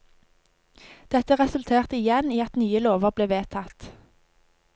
Dette resulterte igjen i at nye lover ble vedtatt.